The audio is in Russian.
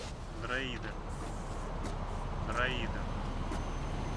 дроидер дроидер